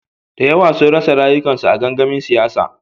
Da yawa sun rasa rayukansu a gangamin siyasa.